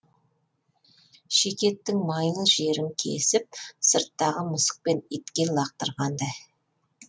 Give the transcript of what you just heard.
шикі еттің майлы жерін кесіп сырттағы мысық пен итке лақтырғандай